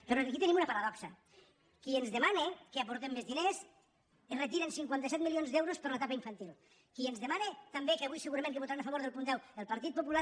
però aquí tenim una paradoxa qui ens demana que aportem més diners retira cinquanta set milions d’euros per a l’etapa infantil qui ens demana també que avui segurament que votaran a favor del punt deu el partit popular